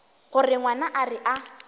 gore ngwana a re a